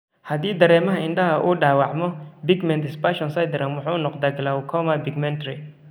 Haddii dareemaha indhaha uu dhaawacmo, pigment dispersion syndrome wuxuu noqdaa glaucoma pigmentary.